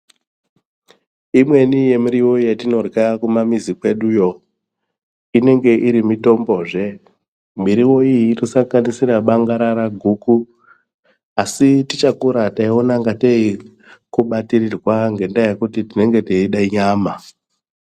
Imweni yemiriwo yetinorya kumamizi kweduyo, inenge iri mitombozve. Miriwo iyi inosanganisira bangarara, guku. Asi tichakura taiona ingatei kubatirirwa, ngendaa yekuti tinenge teida nyama.